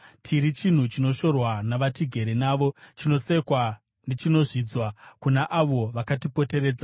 Tiri chinhu chinoshorwa navatigere navo, chinosekwa nechinozvidzwa kuna avo vakatipoteredza.